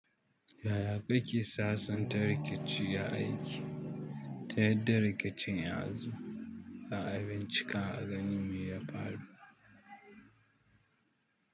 Yaya kake sasanta rikici a aiki? Ta yadda rikicin ya zo, za'a bincika a gani me ya faru.